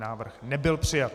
Návrh nebyl přijat.